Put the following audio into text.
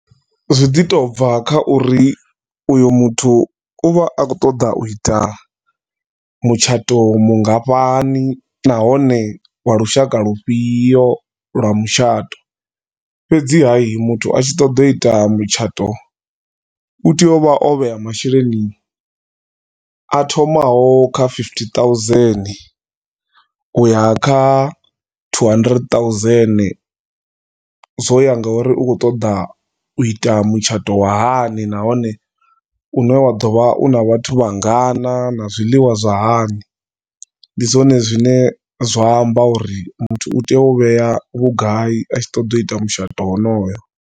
Zwi ḓi tou bva kha uri uyu muthu u vha a khou ṱoḓa u ita mutshato mungafhani nahone lwa lushaka lufhio lwa mutshato. Fhedziha muthu a tshi ṱoḓa u ita mutshato u tea u vha o vhea masheleni a thomaho kha fifty thousand u ya kha two hundred thousand, zwo ya ngauri u khou ṱoḓa u ita mutshato wa hani nahone u ne wa ḓo vha u na vhathu vha ngana na zwiḽiwa zwa hani. Ndi zwone zwine zwa amba uri muthu u tea u vhea vhugai a tshi ṱoḓa u ita mutshato honoyo.